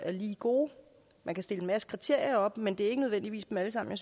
er lige gode man kan stille en masse kriterier op men det er ikke nødvendigvis dem alle sammen